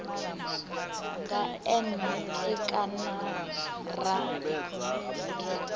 nga n e kana ra